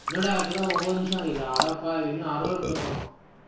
என்னடா, இப்பதான் ஒன்பது நிமிஷம் ஆயிருக்குது. அடப்பாவி, இன்னும் அரை hour பேசணுமா